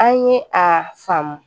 An ye a faamu